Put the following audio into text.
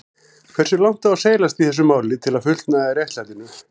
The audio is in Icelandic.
Hversu langt á seilast í þessu máli til að fullnægja réttlætinu?